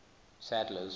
sadler's